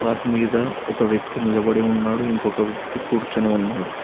Path మీద ఒక వ్యక్తి నిలబడి ఉన్నాడు ఇంకొక వ్యక్తి కూర్చొని ఉన్నాడు.